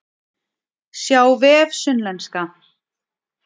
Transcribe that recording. Sjá vef Sunnlenska